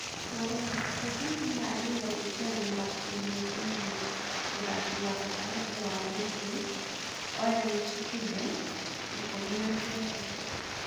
(Marua) Tote nĩeharĩirie gũĩkanirĩra ngirimiti na mũthaki wa gatagatĩ wa muciĩ Oliva Kibe, ikũmi na kenda.